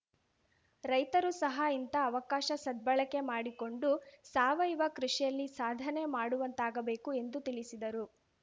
ರೈತರು ಸಹ ಇಂತಹ ಅವಕಾಶ ಸದ್ಭಳಕೆ ಮಾಡಿಕೊಂಡು ಸಾವಯವ ಕೃಷಿಯಲ್ಲಿ ಸಾಧನೆ ಮಾಡುವಂತಾಗಬೇಕು ಎಂದು ತಿಳಿಸಿದರು